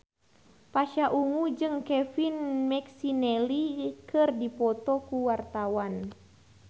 Pasha Ungu jeung Kevin McNally keur dipoto ku wartawan